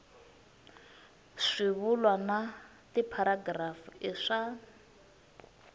swivulwa na tipharagirafu i swa